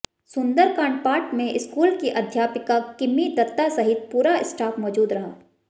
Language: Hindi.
सुंदरकांड पाठ में स्कूल की अध्यापिका किम्मी दत्ता सहित पूरा स्टाफ मौजूद रहा